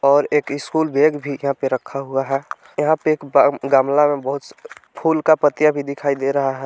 और एक school bag भी यहां पर रखा हुआ है यहां पे एक गमला में बहुत फूल का पत्तियां भी दिखाई दे रहा है।